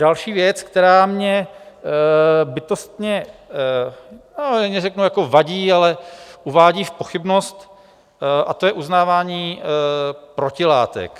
Další věc, která mě bytostně... neřeknu jako vadí, ale uvádí v pochybnost, a to je uznávání protilátek.